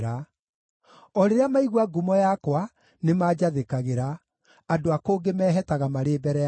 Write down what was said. O rĩrĩa maigua ngumo yakwa, nĩmanjathĩkagĩra; andũ a kũngĩ mehetaga marĩ mbere yakwa.